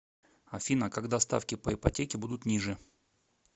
афина когда ставки по ипотеке будут ниже